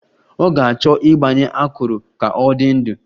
Ọ ga-achọ ịgbanye akụrụ ka ọ dị ndụ